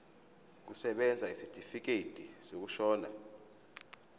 kusebenza isitifikedi sokushona